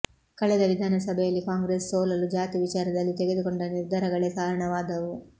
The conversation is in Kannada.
ಕಳೆದ ವಿಧಾನಸಭೆಯಲ್ಲಿ ಕಾಂಗ್ರೆಸ್ ಸೋಲಲು ಜಾತಿ ವಿಚಾರದಲ್ಲಿ ತೆಗೆದುಕೊಂಡ ನಿರ್ಧಾರಗಳೇ ಕಾರಣವಾದವು